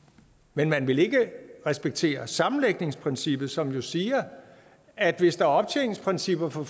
men man ville ikke respektere sammenlægningsprincippet som jo siger at hvis der er optjeningsprincipper for